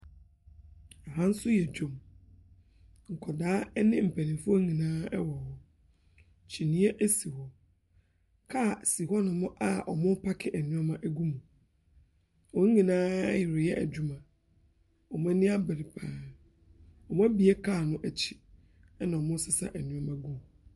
Ha nso yɛ dwam. Nkwadaa ne mpanimfoɔ nyinaa wɔ hɔ. Kyiniiɛ si hɔ. Kaa si hɔnom a wɔrepaake nneɛma gu mu. Wɔn nyinaa reyɛ adwuma. Wɔn ani abere pa ara. Wɔabue car no akyi, ɛna wɔresesa nneɛma gu mu.